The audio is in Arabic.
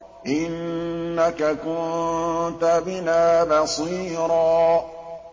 إِنَّكَ كُنتَ بِنَا بَصِيرًا